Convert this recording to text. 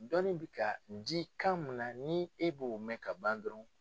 Dɔnni bɛ ka di kan mun na ni e b'o mɛn ka ban dɔrɔn.